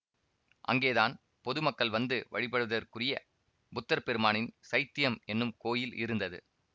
அங்கேதான் பொதுமக்கள் வந்து வழிபடுதற்குரிய புத்தர் பெருமானின் சைத்யம் என்னும் கோயில் இருந்தது